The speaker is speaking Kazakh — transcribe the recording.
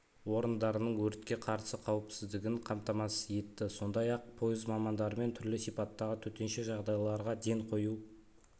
орындарының өртке қарсы қауіпсіздігін қамтамасыз етті сондай-ақ пойыз мамандарымен түрлі сипаттағы төтенше жағдайларға ден қою